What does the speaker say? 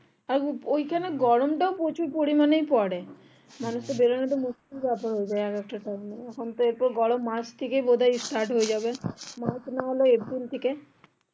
আর ওই খানে গরম তাও প্রচুর পরিমানে পরে মানুষ এর বেরোনোটা মুশকিল হয়ে যাই এক একটা time এ এখন এই তো গরম মার্চ থেকে start হয়ে যাবে নাহলে এপ্রিল থেকে